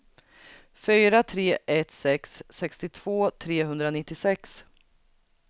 fyra tre ett sex sextiotvå trehundranittiosex